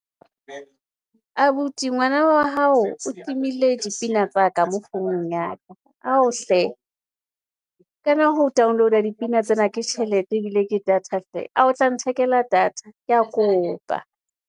Abuti ngwana wa hao o timile dipina tsa ka mo founung ya ka, ao hle kana ho download-a, dipina tsena ke tjhelete ebile ke data hle, a o tla nthekela data ke a kopa.